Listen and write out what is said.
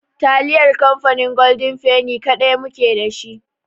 Taliyar kamfanin golden feni kaɗai mu ke dashi.